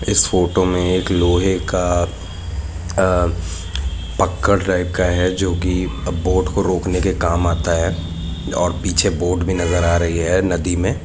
इस फोटो में एक लोहे का पकड़ टाइप का है जोकि बोट को रोकने के काम आता है और पीछे बोट भी नज़र आ रही है नदी में!